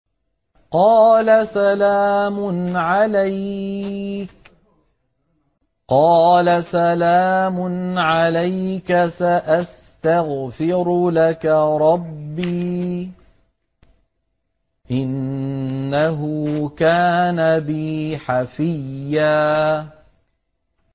قَالَ سَلَامٌ عَلَيْكَ ۖ سَأَسْتَغْفِرُ لَكَ رَبِّي ۖ إِنَّهُ كَانَ بِي حَفِيًّا